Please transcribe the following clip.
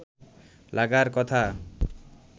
লাগার কথা